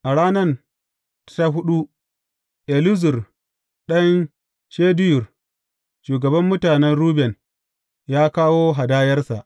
A ranan ta huɗu, Elizur ɗan Shedeyur, shugaban mutanen Ruben, ya kawo hadayarsa.